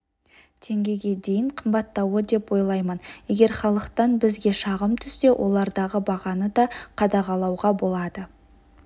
теңгеге дейін қымбаттауы деп ойлаймын егер халықтан бізге шағым түссе олардағы бағаны да қадағалауға болады